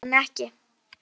Ég ansa henni ekki.